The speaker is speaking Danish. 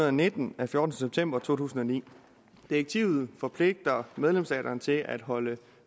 og nitten af fjortende september to tusind og ni direktivet forpligter medlemsstaterne til at holde